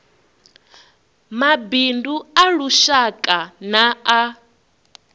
mabindu a lushaka na a